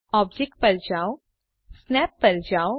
object પર જાઓ Snap પર જાઓ